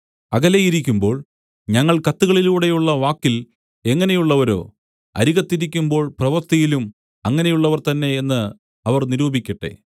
അകലെയിരിക്കുമ്പോൾ ഞങ്ങൾ കത്തുകളിലൂടെയുള്ള വാക്കിൽ എങ്ങനെയുള്ളവരോ അരികത്തിരിക്കുമ്പോൾ പ്രവൃത്തിയിലും അങ്ങനെയുള്ളവർ തന്നെ എന്ന് അവർ നിരൂപിക്കട്ടെ